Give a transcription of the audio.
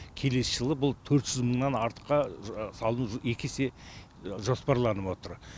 келесі жылы бұл төрт жүз мыңнан артқа салыну екі есе жоспарланып отыр